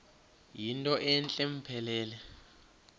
yinto entle mpelele